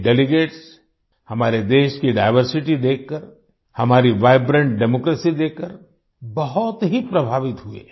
ये डेलीगेट्स हमारे देश की डाइवर्सिटी देखकर हमारी वाइब्रेंट डेमोक्रेसी देखकर बहुत ही प्रभावित हुए